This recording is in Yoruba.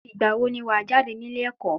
Ìgbà wo ni wa jáde nílé ẹ̀kọ́?